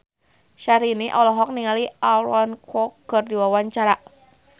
Syahrini olohok ningali Aaron Kwok keur diwawancara